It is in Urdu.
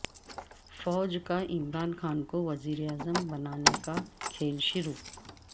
فوج کا عمران خان کو وزیر اعظم بنانے کا کھیل شروع